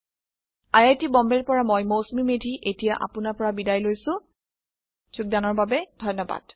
IIT বম্বেৰ পৰা মই মৌচুমী মেধী এতিয়া আপুনাৰ পৰা বিদায় লৈছো যোগদানৰ বাবে ধন্যবাদ